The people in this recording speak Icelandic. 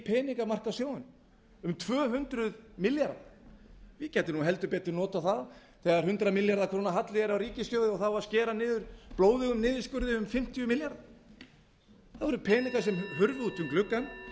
peningamarkaðssjóðunum um þrjú hundruð milljarða ég gæti nú heldur betur notað það þegar hundrað milljarða króna halli er á ríkissjóði og það á að skera niður blóðugum niðurskurði um fimmtíu milljarða það voru peningar sem hurfu út um gluggann